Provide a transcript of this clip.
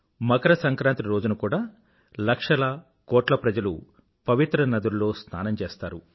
మకర సంక్రాంతి రోజున కూడా లక్షల కోట్ల ప్రజలు ప్రవిత్ర నదుల్లో స్నానం చేస్తారు